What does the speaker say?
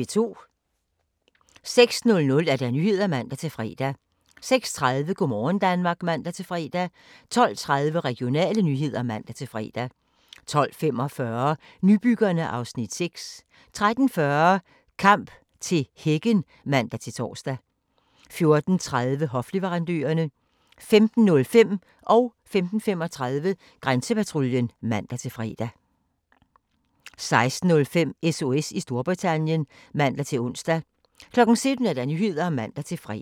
06:00: Nyhederne (man-fre) 06:30: Go' morgen Danmark (man-fre) 12:30: Regionale nyheder (man-fre) 12:45: Nybyggerne (Afs. 6) 13:40: Kamp til hækken (man-tor) 14:30: Hofleverandørerne 15:05: Grænsepatruljen (man-fre) 15:35: Grænsepatruljen (man-fre) 16:05: SOS i Storbritannien (man-ons) 17:00: Nyhederne (man-fre)